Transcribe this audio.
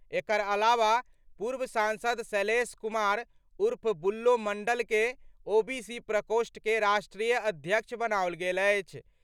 एकर अलावा पूर्व सांसद शैलेश कुमार उर्फ बुल्लो मंडल के ओबीसी प्रकोष्ठ के राष्ट्रीय अध्यक्ष बनाओल गेल अछि।